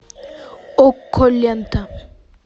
окко лента